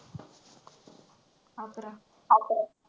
अकरा अकरा.